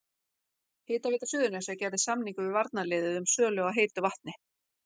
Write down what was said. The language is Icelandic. Hitaveita Suðurnesja gerði samning við varnarliðið um sölu á heitu vatni.